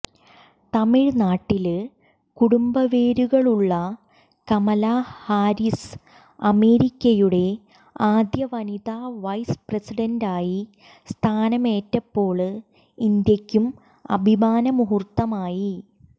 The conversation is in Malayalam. തമിഴ്നാട്ടില് കുടുംബ വേരുകളുള്ള കമല ഹാരിസ് അമേരിക്കയുടെ ആദ്യ വനിതാ വൈസ് പ്രസിഡന്റായി സ്ഥാനമേറ്റപ്പോള് ഇന്ത്യയ്ക്കും അഭിമാന മുഹൂര്ത്തമായി